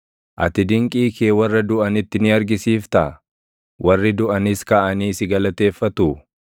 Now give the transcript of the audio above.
Ati dinqii kee warra duʼanitti ni argisiiftaa? Warri duʼanis kaʼanii si galateeffatuu?